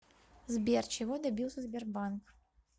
сбер чего добился сбербанк